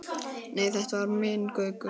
Nei, þetta var minn Gaukur.